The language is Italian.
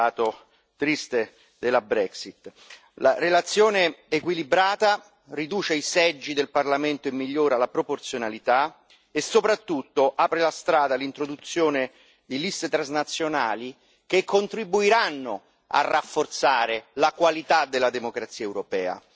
Questo è un lato triste della Brexit. La relazione equilibrata riduce i seggi del Parlamento e migliora la proporzionalità e soprattutto apre la strada all'introduzione di liste transnazionali che contribuiranno a rafforzare la qualità della democrazia europea.